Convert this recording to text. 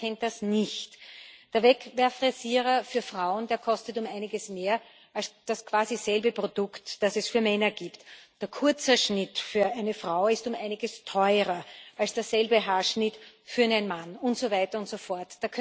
Denn wer kennt das nicht Der Wegwerfrasierer für Frauen kostet um einiges mehr als das quasi selbe Produkt, das es für Männer gibt. Der Kurzhaarschnitt für eine Frau ist um einiges teurer als derselbe Haarschnitt für einen Mann und so weiter und so fort.